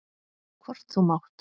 Hvort þú mátt.